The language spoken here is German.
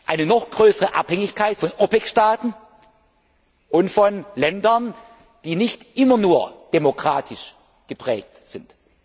eine noch größere Abhängigkeit von OPEC Staaten und von Ländern, die nicht immer nur demokratisch geprägt